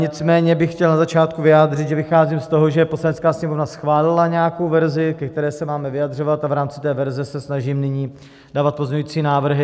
Nicméně bych chtěl na začátku vyjádřit, že vycházím z toho, že Poslanecká sněmovna schválila nějakou verzi, ke které se máme vyjadřovat, a v rámci té verze se snažím nyní dávat pozměňující návrhy.